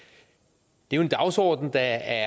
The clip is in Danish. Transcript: det er jo en dagsorden der